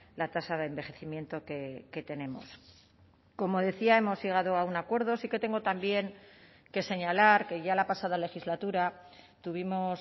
con la tasa de envejecimiento que como decía hemos llegado a un acuerdo sí que tengo también que señalar que ya la pasada legislatura tuvimos